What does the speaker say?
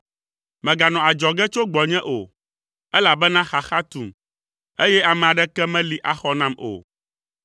Mèganɔ adzɔge tso gbɔnye o, elabena xaxa tum, eye ame aɖeke meli axɔ nam o.